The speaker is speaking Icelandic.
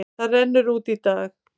Það rennur út í dag.